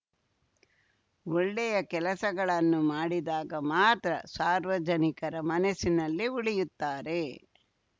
ಒಳ್ಳೆಯ ಕೆಲಸಗಳನ್ನು ಮಾಡಿದಾಗ ಮಾತ್ರ ಸಾರ್ವಜನಿಕರ ಮನಸ್ಸಿನಲ್ಲಿ ಉಳಿಯುತ್ತಾರೆ